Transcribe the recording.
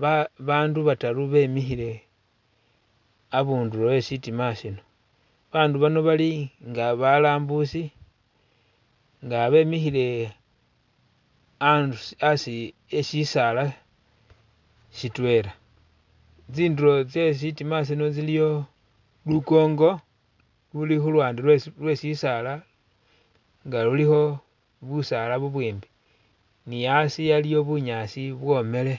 ba babandu bataru bemikhile a'bundulo e'shitima shino, babandu bali nga balambusi nga bemikhile aa.. a'asi e'sisaala sitwela tsindulo tsye shitima shino iliyo lukongo luli khuluwande lwe sisaala nga lulikho busaala bubwimbi ni a'asi waliwo bunyaasi bwomele